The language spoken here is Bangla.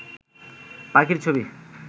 পাখির ছবি